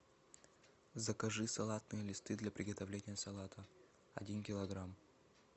закажи салатные листы для приготовления салата один килограмм